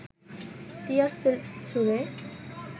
টিয়ার shell ছুড়ে